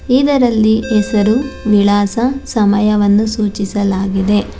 ಇದರಲ್ಲಿ ಹೆಸರು ವಿಳಾಸ ಸಮಯವನ್ನು ಸೂಚಿಸಲಾಗಿದೆ.